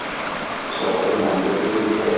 টো মিলিছে